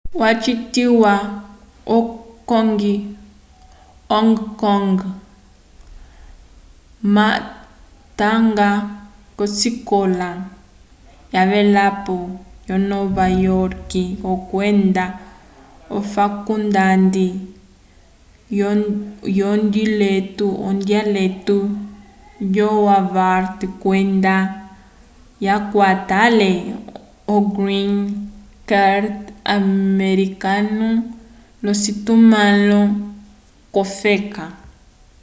wacitiwa vo hong kong ma watanga k'osikola yavelapo yonova yorke kwenda ofakulndande yondiletu yo harvard kwenda yakwata ale o green card americano l'ocitumãlo k'ofeka